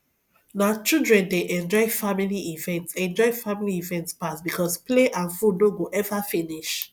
na children dey enjoy family event enjoy family event pass because play and food no go ever finish